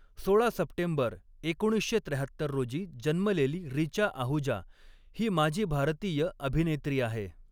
सोळा सप्टेंबर एकोणीसशे त्र्याहत्तर रोजी जन्मलेली रिचा आहुजा ही माजी भारतीय अभिनेत्री आहे.